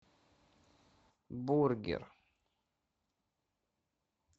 бургер